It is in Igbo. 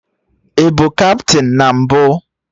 I bụ kaptịn na mbụ?